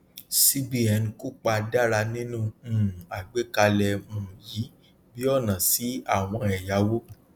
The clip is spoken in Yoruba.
cbn kópa dára nínú um àgbékalẹ um yìí bí ọnà sí àwọn ẹyàwó